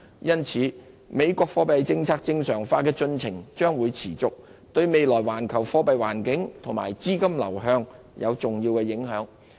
由此可見，美國貨幣政策正常化的進程將持續，對未來環球貨幣環境及資金流向產生重要影響。